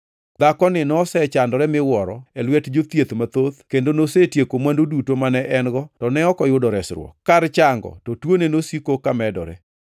Dhakoni nosechandore miwuoro e lwet jothieth mathoth kendo nosetieko mwandu duto mane en-go to ne ok oyudo resruok. Kar chango to tuone nosiko ka medore.